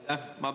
Aitäh!